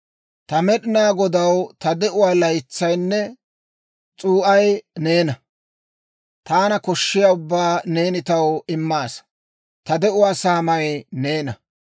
Ta Med'inaa Godaw, ta de'uwaa laataynne s'uu'ay neena; taana koshshiyaa ubbaa neeni taw immaasa. Ta de'uwaa saamay neena.